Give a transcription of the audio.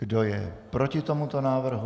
Kdo je proti tomuto návrhu?